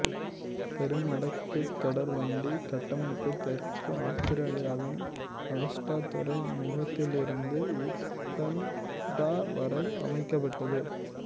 பெரும் வடக்கு தொடர்வண்டி கட்டமைப்பு தெற்கு ஆத்திரேலியாவின் அகஸ்டா துறைமுகத்திலிருந்து ஊட்னடட்டா வரை அமைக்கப்பட்டது